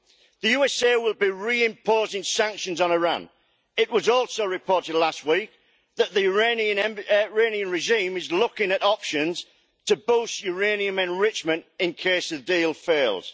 The USA will be re imposing sanctions on Iran. It was also reported last week that the Iranian regime is looking at options to boost uranium enrichment in case the deal fails.